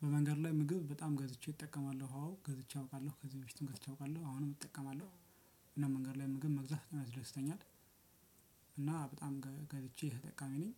በመንገድ ላይ ምግብ በጣም ገዝቼ እጠቀማለሁ አዎ ገዝቼ አውቃለሁ ከዚህ በፊትም ገዝቼ አውቃለሁ አሁንም እጠቀማለሁ። እና መንገድ ላይ ምግብ መግዛት በጣም ያስደስተኛል። እና በጣም ገዝቼ ተጠቃሚ ነኝ።